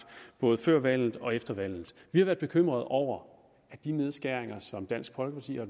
både før valget og efter valget vi har været bekymret over de nedskæringer som dansk folkeparti har